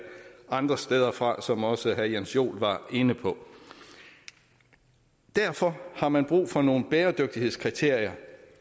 andre steder fra som også herre jens joel var inde på derfor har man brug for nogle bæredygtighedskriterier